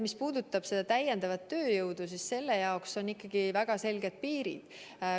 Mis puudutab täiendavat tööjõudu, siis selle jaoks on ikkagi väga selged piirid.